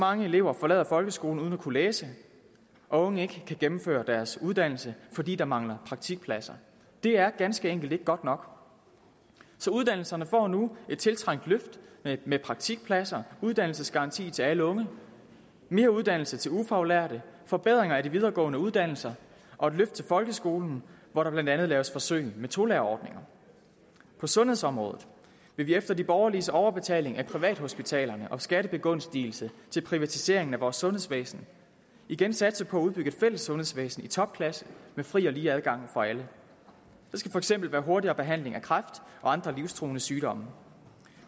mange elever forlader folkeskolen uden at kunne læse og at unge ikke kan gennemføre deres uddannelse fordi der mangler praktikpladser det er ganske enkelt ikke godt nok så uddannelserne får nu et tiltrængt løft med praktikpladser uddannelsesgaranti til alle unge mere uddannelse til ufaglærte forbedringer af de videregående uddannelser og et løft til folkeskolen hvor der blandt andet laves forsøg med tolærerordninger på sundhedsområdet vil vi efter de borgerliges overbetaling af privathospitalerne og skattebegunstigelse til privatiseringen af vores sundhedsvæsen igen satse på at udbygge et fælles sundhedsvæsen i topklasse med fri og lige adgang for alle der skal for eksempel være hurtigere behandling af kræft og andre livstruende sygdomme